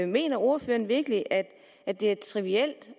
mener ordføreren virkelig at at det er trivielt